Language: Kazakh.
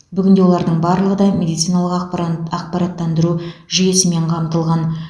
бүгінде олардың барлығы да медициналық ақпаран ақпараттандыру жүйесімен қамтылған